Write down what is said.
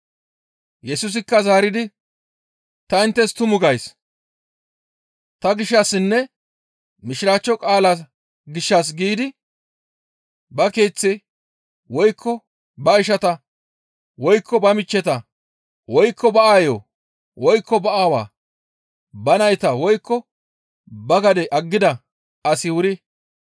Yesusikka zaaridi, «Ta inttes tumu gays; ta gishshassinne Mishiraachcho qaalaa gishshas giidi ba keeththe, woykko ba ishata, woykko ba michcheta, woykko ba aayo, woykko ba aawaa, ba nayta, woykko ba gade aggida asi wuri,